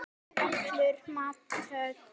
önnur manntöl